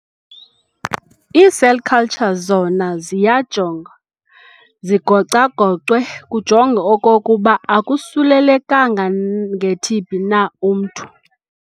Ii"cell cultures" zona ziyajongwa zigocwagocwe kujongwe okokuba akosulelekanga ngeTb na umntu.